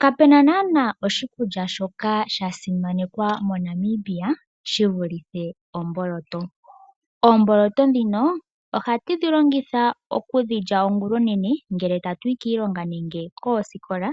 Kapena naana oshikulya shoka shasimanekwa moNamibia shivulithe omboloto, oomboloto dhino ohatu dhilongitha okudhilya ongulonene ngele tatuyi kiilonga nenge koosikola